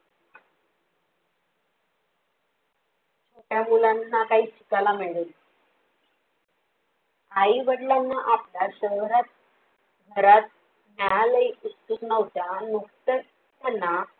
छोट्या मुलांना काही शिकायला मिळेल. आई वडिलांना आपल्या शहरात घरात न्यायला हि उत्सुक नव्हत्या नुकतच त्यांना